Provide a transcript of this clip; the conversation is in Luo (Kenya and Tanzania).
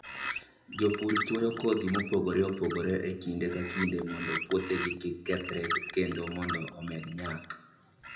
Jopur chwoyo kodhi mopogore opogore e kinde ka kinde mondo puothegi kik kethre kendo mondo omed nyak.